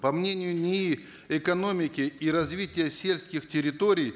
по мнению нии экономики и развития сельских территорий